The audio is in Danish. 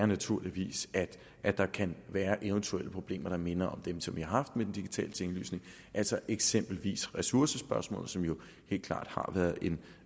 naturligvis er at der kan være eventuelle problemer der minder om dem som vi har haft med den digitale tinglysning altså eksempelvis ressourcespørgsmålet som jo helt klart har været en